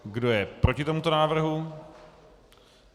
Kdo je proti tomuto návrhu?